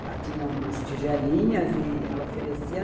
Ela tinha umas tigelinhas e ela oferecia.